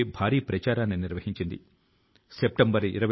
ఈ ప్రచారం లో ప్రజలు స్వచ్ఛందం గా వారి ఎయిర్ గన్ల ను అప్పగిస్తున్నారు